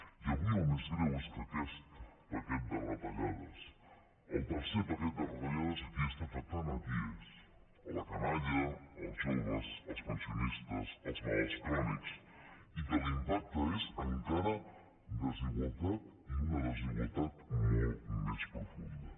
i avui el més greu és que aquest paquet de retallades el tercer paquet de retallades a qui està afectant qui és la canalla els joves els pensionistes els malalts crònics i que l’impacte és encara desigualtat i una desigualtat molt més profunda